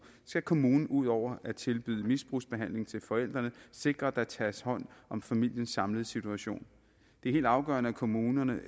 skal kommunen ud over at tilbyde misbrugsbehandling til forældrene sikre at der tages hånd om familiens samlede situation det er helt afgørende at kommunerne